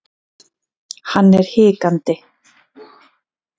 Hann er hikandi.